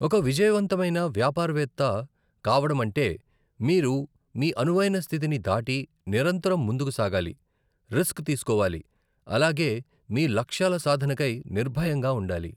ఒక విజయవంతమైన వ్యాపారవేత్త కావడమంటే, మీరు మీ అనువైన స్థితిని దాటి, నిరంతరం ముందుకు సాగాలి, రిస్క్ తీసుకోవాలి అలాగే మీ లక్ష్యాల సాధనకై నిర్భయంగా ఉండాలి.